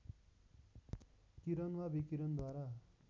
किरण वा विकिरणद्वारा